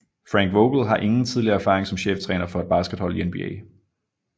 Frank Vogel har ingen tidligere erfaring som cheftræner for et baskethold i NBA